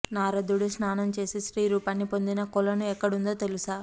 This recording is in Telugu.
నారదుడు స్నానం చేసి స్త్రీ రూపాన్ని పొందిన కొలను ఎక్కడుందో తెలుసా